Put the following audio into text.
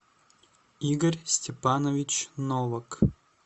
игорь степанович новак